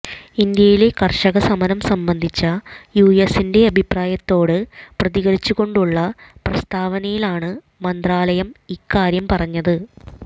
ഇന്ത്യയിലെ കർഷക സമരം സംബന്ധിച്ച യുഎസിന്റെ അഭിപ്രായത്തോട് പ്രതികരിച്ചുകൊണ്ടുള്ള പ്രസ്താവനയിലാണ് മന്ത്രാലയം ഇക്കാര്യം പറഞ്ഞത്